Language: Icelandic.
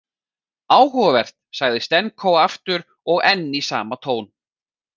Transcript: Áhugavert, sagði Stenko aftur og enn í sama tón.